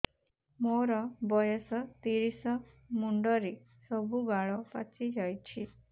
ମୋର ବୟସ ତିରିଶ ମୁଣ୍ଡରେ ସବୁ ବାଳ ପାଚିଯାଇଛି